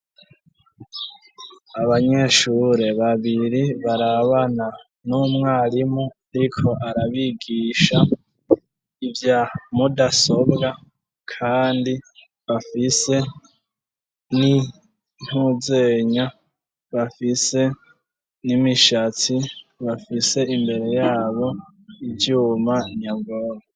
Abanyeshure babiri barabana n'umwarimu ariko arabigisha ivya mudasobwa kandi bafise n'intuzenya, bafise n'imishatsi, bafise imbere yabo ivyuma nyabwonko.